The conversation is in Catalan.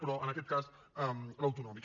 però en aquest cas l’autonòmic